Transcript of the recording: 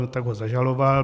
No tak ho zažaloval.